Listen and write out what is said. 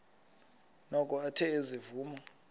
noko athe ezivuma